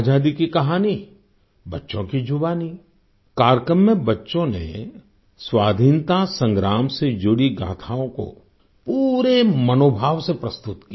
आजादी की कहानीबच्चों की जुबानी कार्यक्रम में बच्चों ने स्वाधीनता संग्राम से जुड़ी गाथाओं को पूरे मनोभाव से प्रस्तुत किया